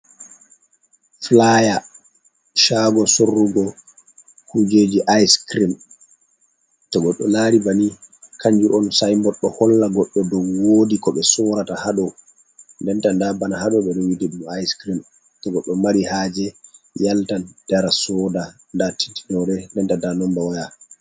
Fulaya cago sorrugo kujeji ayis kirim ,to goɗɗo laari banni kanjum on sayinbot ɗo holla goɗɗo dow woodi ko ɓe sorata haaɗo. Denta ndaa bana haaɗo be rongi ɗum ayis kirim to goɗɗo mari haaje yalta dara sooda ndaa adires nomba waya.